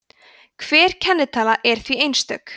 hver kennitala er því einstök